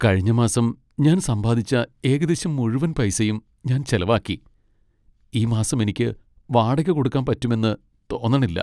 കഴിഞ്ഞ മാസം ഞാൻ സമ്പാദിച്ച ഏകദേശം മുഴുവൻ പൈസയും ഞാൻ ചെലവാക്കി. ഈ മാസം എനിക്ക് വാടക കൊടുക്കാൻ പറ്റുമെന്ന് തോന്നണില്ല.